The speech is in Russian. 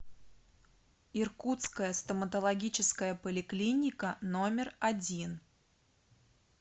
иркутская стоматологическая поликлиника номер один